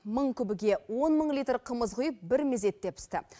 мың күбіге он мың литр қымыз құйып бір мезетте пісті